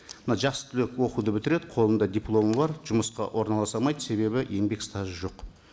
мына жас түлек оқуды бітіреді қолында дипломы бар жұмысқа орналаса алмайды себебі еңбек стажы жоқ